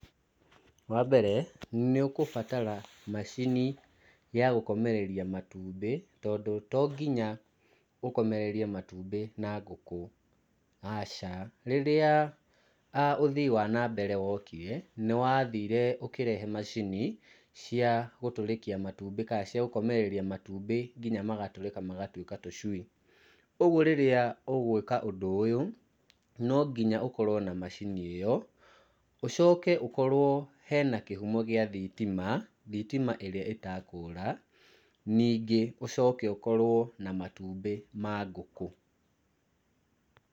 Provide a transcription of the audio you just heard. Wa mbere nĩ ũkũbatara macini ya gũkomereria matumbĩ, tondũ to nginya ũkomererie matumbĩ na ngũkũ, aca. Rĩrĩa, ũthii wa na mbere wokire, nĩ wathire ũkĩrehe macini, cia gũtũrĩkia matumbĩ, kana cia gũkomereria matumbĩ, nginya magatũrĩka magatuĩka tũcui, ũguo rĩrĩa ũgwĩka ũndũ ũyũ, no nginya ũkorwo na macini ĩyo, ũcoke ũkorwo hena kĩhumo gĩa thitima, thitima ĩrĩa etakũra, ningĩ ũcoke ũkorwo na matumbĩ ma ngũkũ.